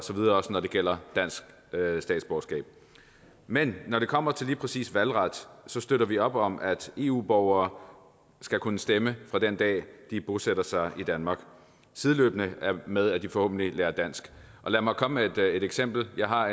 også når det gælder dansk statsborgerskab men når det kommer til lige præcis valgret støtter vi op om at eu borgere skal kunne stemme fra den dag de bosætter sig i danmark sideløbende med at de forhåbentlig lærer dansk og lad mig komme med et eksempel jeg har